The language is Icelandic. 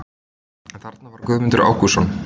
En þarna var Guðmundur Ágústsson!